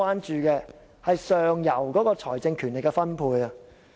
如何改變財政權力的分配？